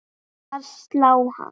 að slá hann.